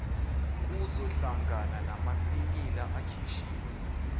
kuzohlangana namafinyila akhishiwe